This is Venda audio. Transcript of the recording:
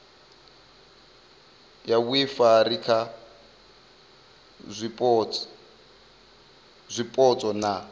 ya vhuifari kha zwipotso na